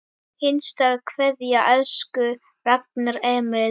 HINSTA KVEÐJA Elsku Ragnar Emil.